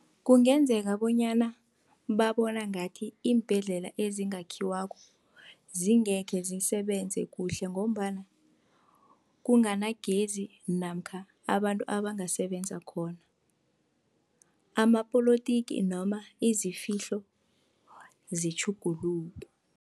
Kungenzeka bonyana babona ngathi iimbhedlela ezingakhiwako, zingekhe zisebenze kuhle, ngombana kunganagezi namkha abantu abangasebenza khona. Amapolotiki noma izifihlo zitjhuguluke.